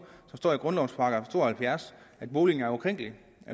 der står i grundlovens § to og halvfjerds at boligen er ukrænkelig